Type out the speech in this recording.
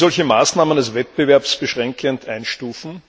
Wird sie solche Maßnahmen als wettbewerbsbeschränkend einstufen?